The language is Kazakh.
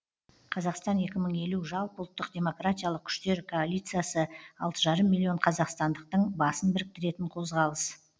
қазақстан екі мың елу жалпы ұлттық демократиялық күштер коалициясы алты жарым миллион қазақстандықтың басын біріктіретін қозғалыс